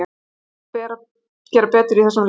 Við þurfum að gera betur í þessum leikjum.